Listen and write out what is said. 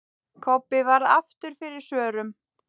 Kobbi varð aftur fyrir svörum.